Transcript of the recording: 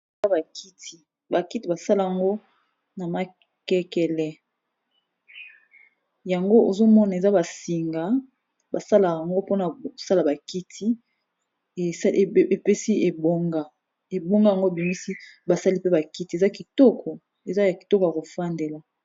Eza ba kiti, ba kiti ba sala ngo na makekele yango ozo mona eza ba singa basala ngo mpona osala ba kiti epesi ebonga. Ebonga yango ebimisi basali pe ba kiti, eza ya kitoko ya ko fandela.